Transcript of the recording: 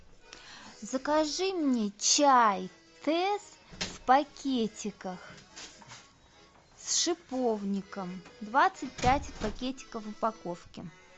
закажи мне чай тесс в пакетиках с шиповником двадцать пять пакетиков в упаковке